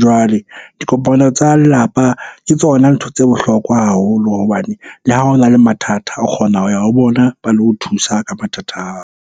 Jwale dikopano tsa lelapa ke tsona ntho tse bohlokwa haholo hobane le ha ho na le mathata, o kgona ho ya ho bona ba lo thusa ka mathata ao.